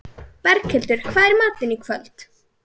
Berghildur, hvað er í matinn í kvöld?